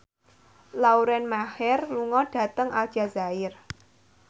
Lauren Maher lunga dhateng Aljazair